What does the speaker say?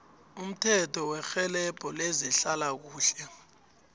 umthetho werhelebho lezehlalakuhle